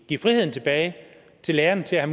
give friheden tilbage til lærerne til at